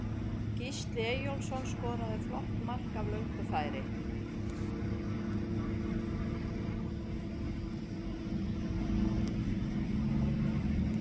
Gísli Eyjólfsson skoraði flott mark af löngu færi.